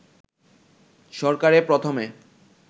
সরকারে প্রথমে